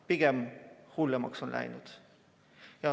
Pigem hullemaks on läinud.